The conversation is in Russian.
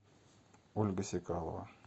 ольга сикалова